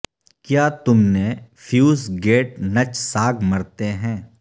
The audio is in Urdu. کیا تم نے فیوس گیٹ نچ ساگ مرتے ہیں